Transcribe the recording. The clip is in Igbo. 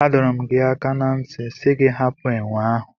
A dọrọ m gi aka na nti si gị hapụ enwe ahụ.